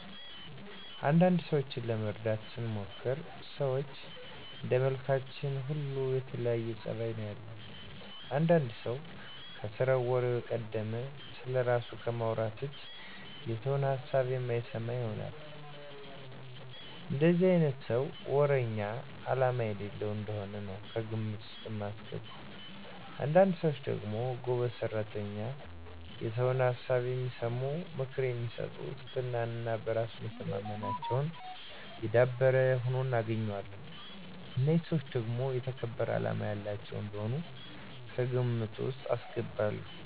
አንዳንድ ሰዎችን ለመረዳት ስሞክር ሰዎች እንደመልካችን ሁሉ የተለያየ ፀባይ ነው ያለን። አንዳንድ ሰው ከስራው ወሬው የቀደመ፣ ስለራሱ ከማውራት ውጭ የሰውን ሀሳብ የማይሰማ ይሆናል። እንደዚህ አይነቱን ሰው ወረኛ አላማ የሌለው እንደሆነ ነው ከግምት ውስጥ ማስገባው። አንዳንድ ሰዎች ደግሞ ጎበዝ ሰራተኛ፣ የሰውን ሀሳብ የሚሰሙ፣ ምክር የሚሰጡ ትህትና እና በራስ መተማመናቸው የዳበረ ሁነው እናገኛቸዋለን። እነዚህን ሰዎች ደግሞ የተከበሩ አላማ ያላቸው እንደሆኑ ከግምት ውስጥ አስገባለሁ።